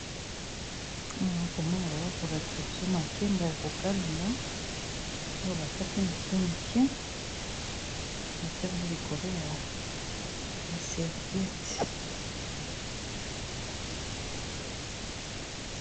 Awa naza komona bazo lakisa biso makemba ya ko kalinga, oyo bakati mike mike ba tiango likolo ya serviete.